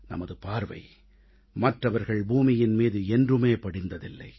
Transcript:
நமது பார்வை மற்றவர்கள் பூமியின் மீது என்றுமே படிந்ததில்லை